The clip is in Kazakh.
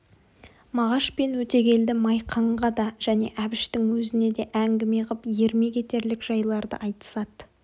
мағаш пен өтегелді майқанға да және әбіштің өзіне де әңгіме қып ермек етерлік жайларды айтысады